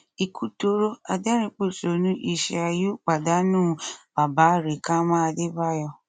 ikú dọrọ adẹrìnpọṣónú ishàé u pàdánù bàbá rẹkámà adébáyò